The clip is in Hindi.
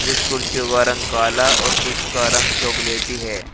कुछ कुर्सियों का रंग काला और कुछ का रंग चॉकलेटी है।